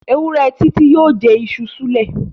Ewúrẹ́ Titi yóò jẹ iṣu súlẹ̀.